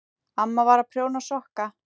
Amma var að prjóna sokka.